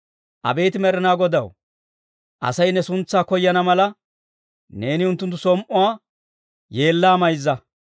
Abeet Med'inaa Godaw, Asay ne suntsaa koyana mala, neeni unttunttu som"uwaa yeellaa mayzza.